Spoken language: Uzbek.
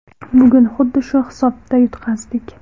Bugun xuddi shu hisobda yutqazdik.